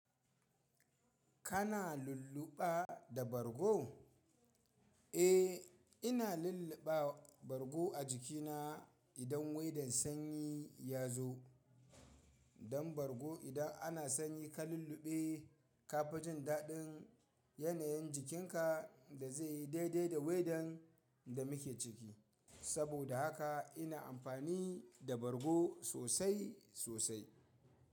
Kana lulluɓa da bargo? Eh, ina lulluɓa bargo a jikina idan waidan sanyi ya zo. Dan bargo idan ana sanyi ka lulluɓe ka fi jin daɗin yanayin jikinka da zai yi daidai da waidan da muke ciki. Saboda haka ina amfani da bargo sosai sosai.